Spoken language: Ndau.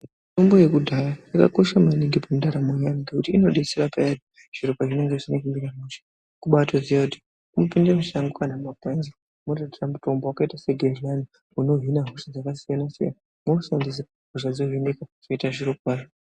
Mitombo yekudhaya yakakosha maningi mundaramo yeantu ngekuti inodetsera payani zviro pazvinenge zvisina kumira mushe. Kubaatoziya kuti unotopinde mushango kana mugwenzi wototora mutombo wakaita segedhlani unohina hosha dzakasiyana-siyana, wotoshandisa hosha dzohinika zvoita zviro kwazvo.